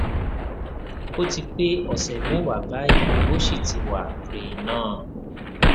ó ti pé ọsẹ mẹwàá báyìí ó sì ti wa pre nan